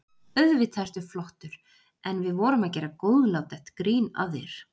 Auðvitað ertu flottur, en við vorum að gera góðlátlegt grín að þér.